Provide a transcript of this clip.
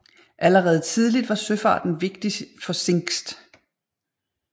Allerede tidligt var søfarten vigtig for Zingst